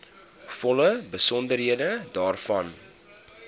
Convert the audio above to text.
volle besonderhede daarvan